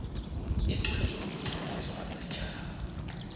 encwadini yokutloliswa kwesitjhaba